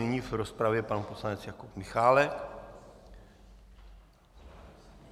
Nyní v rozpravě pan poslanec Jakub Michálek.